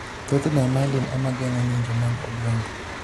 Thothne, myelin ema geng'o ng'injo mag obwongo.